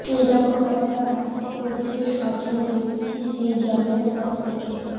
এই রকম একটা ভাস্কর্যের স্বপ্ন দেখছি সেই জন্মের পর থেকে